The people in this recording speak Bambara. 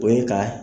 O ye ka